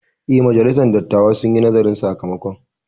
Eh, majalisar dattawan sun yi nazarin sakamakon